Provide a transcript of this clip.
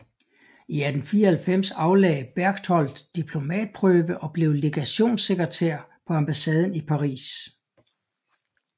I 1894 aflagde Berchtold diplomatprøve og blev legationssekretær på ambassaden i Paris